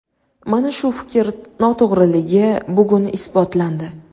Mana shu fikr noto‘g‘riligi bugun isbotlandi.